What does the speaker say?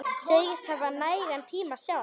Segist hafa nægan tíma sjálf.